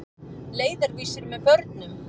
Leiðarvísir með börnum.